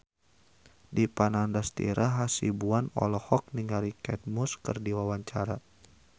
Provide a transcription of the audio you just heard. Dipa Nandastyra Hasibuan olohok ningali Kate Moss keur diwawancara